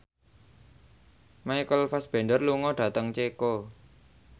Michael Fassbender lunga dhateng Ceko